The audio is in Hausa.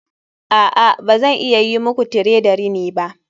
A'a ba zan iya yi muku tire da rini ba